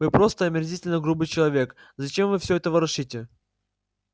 вы просто омерзительно грубый человек зачем вы всё это ворошите